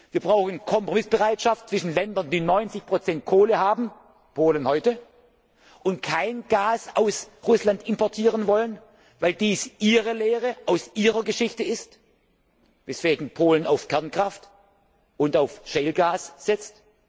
Wir brauchen Kompromissbereitschaft zwischen Ländern, die 90 Kohle haben Polen heute und kein Gas aus Russland importieren wollen, weil dies ihre Lehre aus ihrer Geschichte ist, weswegen Polen auf Kernkraft und auf Shale Gas setzt.